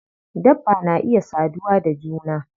Dabba na iya saduwa da juna.